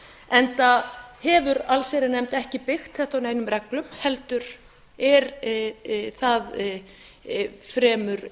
enda hefur allsherjarnefnd ekki byggt þetta á neinum reglum heldur er það fremur